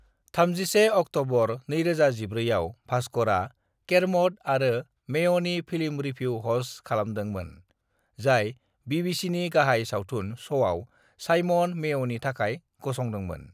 "31 October 2014 आव भास्करआ केर्म'ड आरो मेय'नि फिल्म रिभिउ ह'स्ट खालामदोंमोन, जाय बीबीसीनि गाहाय सावथुन श'आव साइमन मेय'नि थाखाय गसंदोंमोन।"